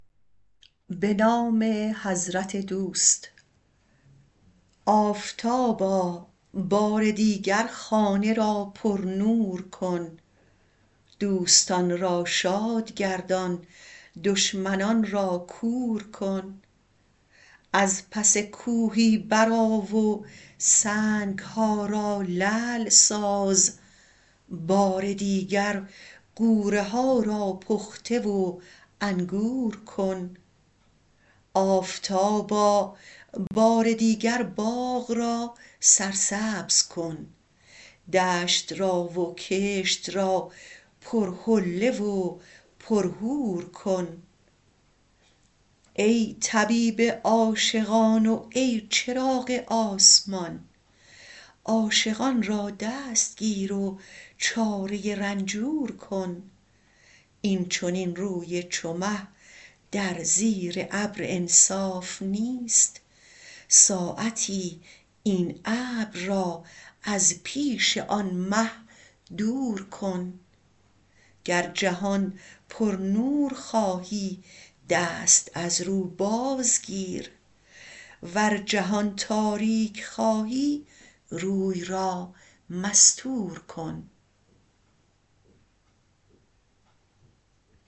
آفتابا بار دیگر خانه را پرنور کن دوستان را شاد گردان دشمنان را کور کن از پس کوهی برآ و سنگ ها را لعل ساز بار دیگر غوره ها را پخته و انگور کن آفتابا بار دیگر باغ را سرسبز کن دشت را و کشت را پرحله و پرحور کن ای طبیب عاشقان و ای چراغ آسمان عاشقان را دستگیر و چاره رنجور کن این چنین روی چو مه در زیر ابر انصاف نیست ساعتی این ابر را از پیش آن مه دور کن گر جهان پرنور خواهی دست از رو بازگیر ور جهان تاریک خواهی روی را مستور کن